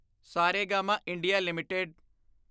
Saregama India LTD